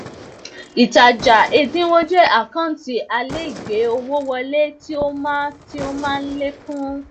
ìtajà ẹdínwó jẹ àkántì alaigbe owó wọle tí ó má ń ó má ń lékún